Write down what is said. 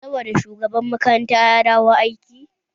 Sabon shugaban makarantar ya dawo aiki?